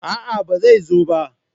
a'a ba zai zo ba